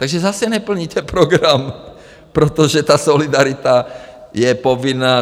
Takže zase neplníte program, protože ta solidarita je povinná.